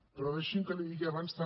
però deixi’m que li digui abans també